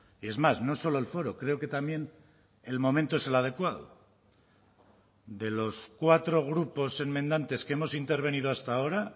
y es más no solo el foro creo que también el momento es el adecuado de los cuatro grupos enmendantes que hemos intervenido hasta ahora